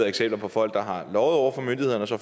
eksempler på folk der har løjet over for myndighederne og så